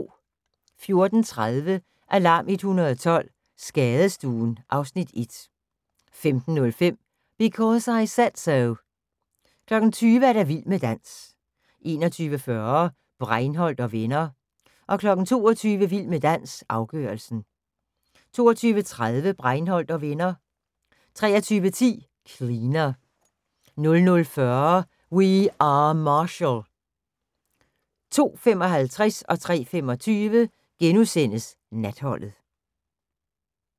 14:30: Alarm 112 – Skadestuen (Afs. 1) 15:05: Because I Said So 20:00: Vild med dans 21:40: Breinholt & Venner 22:00: Vild med dans – afgørelsen 22:30: Breinholt & Venner 23:10: Cleaner 00:40: We Are Marshall 02:55: Natholdet * 03:25: Natholdet *